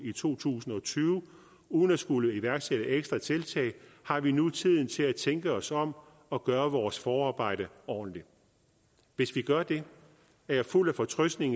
to tusind og tyve uden at skulle iværksætte ekstra tiltag har vi nu tiden til at tænke os om og gøre vores forarbejde ordentligt hvis vi gør det er jeg fuld af fortrøstning